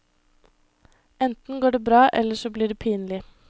Enten går det bra eller så blir det pinlig.